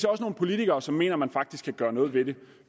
også nogle politikere som mener at man faktisk kan gøre noget ved det